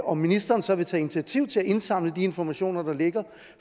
om ministeren så vil tage initiativ til at indsamle de informationer der ligger